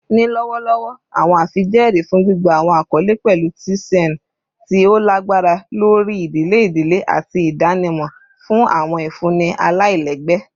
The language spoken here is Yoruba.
Ni lọwọlọwọ, awọn afijẹẹri fun gbigba awọn akọle pẹlu tcnu ti o lagbara lori idile idile ati idanimọ fun awọn ifunni alailẹgbẹ